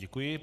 Děkuji.